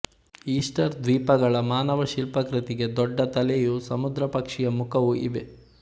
Easter ದ್ವೀಪಗಳ ಮಾನವ ಶಿಲ್ಪಾಕೃತಿಗೆ ದೊಡ್ಡ ತಲೆಯೂ ಸಮುದ್ರಪಕ್ಷಿಯ ಮುಖವೂ ಇವೆ